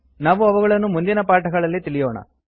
ನಾವು ಅವುಗಳನ್ನು ಮುಂದಿನ ಪಾಠಗಳಲ್ಲಿ ತಿಳಿಯೋಣ